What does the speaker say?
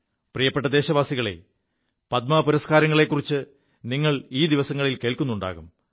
പ്രിയപ്പെ ദേശവാസികളേ പദ്മപുരസ്കാരങ്ങളെക്കുറിച്ച് നിങ്ങൾ ഈ ദിവസങ്ങളിൽ കേൾക്കുുണ്ടാകും